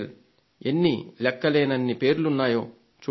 ఎన్ని లెక్కలేనన్ని పేర్లున్నాయో చూడండి